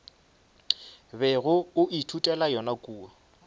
bego o ithutela yona kua